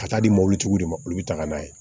Ka taa di mɔbili tigiw de ma olu bɛ taga n'a ye